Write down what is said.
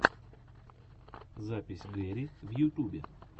запись гэри в ютубе